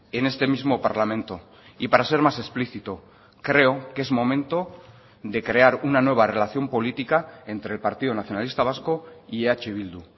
en este mismo parlamento y para ser más explícito creo que es momento de crear una nueva relación política entre el partido nacionalista vasco y eh bildu